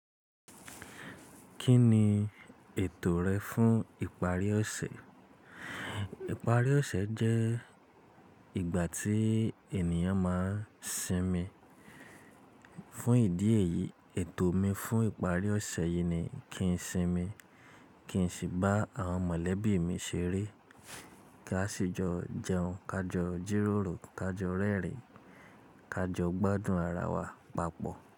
Kí ni ètò rẹ fún ìparí ọ̀sẹ̀? Ìparí ọ̀sẹ̀ jẹ́ ìgbà tí ènìyàn máa ń sinmi. Fún ìdí èyí, ètò mi fún ìparí ọ̀sẹ̀ yìí ni kí n sinmi, kí n sì bá àwọn mọ̀lẹ́bí mi ṣeré. Ká ṣi jọ jẹun, ká jọ jíròrò, ká jọ rẹ́rìn-ín, ká jọ gbádùn ara wa papọ̀